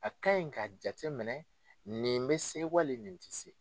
A ka ɲi ka jate minɛ ,nin be se wali nin te se.